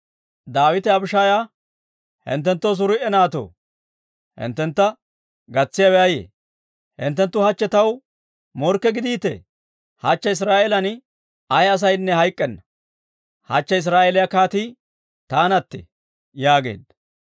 Daawite Abishaaya, «Hinttenttoo, S'aruuyi naatoo, hinttentta gatsiyaawe ayee? Hinttenttu hachche taw morkke gidiitee! Hachche Israa'eelan ay asaynne hayk'k'enna! Hachche Israa'eeliyaa kaatii taanattee!» yaageedda.